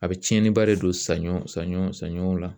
A bɛ tiɲɛniba de don saɲɔ saɲɔ saɲɔw la